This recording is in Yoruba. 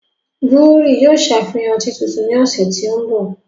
Búhírì yóò ṣàfihán ọtí tuntun ní ọ̀sẹ̀ tí ń bò